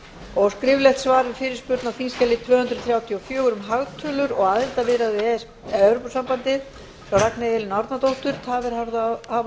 skriflegt svar við fyrirspurn á þingskjali tvö hundruð þrjátíu og fjögur um hagtölur og aðildarviðræður evrópusambandsins frá ragnheiði elínu árnadóttur tafir hafa